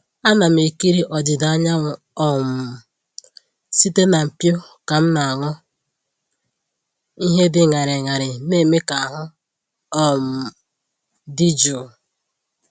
Ana m ekiri ọdịda anyanwụ um site na mpio ka m na-aṅụ ihe dị ñarị ñarị na-eme ka ahụ um dị jụụ.